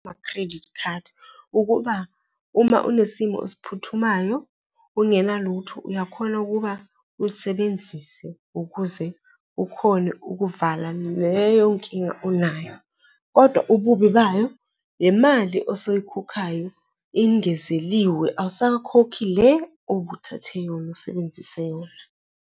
credit card ukuba uma unesimo esiphuthumayo, ungenalutho, uyakhona ukuba ulisebenzise ukuze ukhone ukuvala leyonkinga unayo kodwa ububi bayo le mali osoyikhokhayo ingezeliwe, awusakhokhi le obuthathe yona, usebenzise yona.